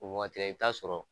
O waati i t'a sɔrɔ